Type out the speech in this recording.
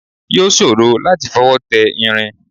Yóò ṣòro láti fọwọ́ tẹ irin